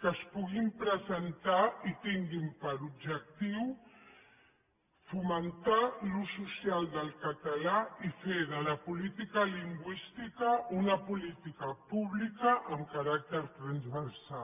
que es puguin presentar i tinguin per objectiu fomentar l’ús social del català i fer de la política lingüística una política pública amb caràcter transversal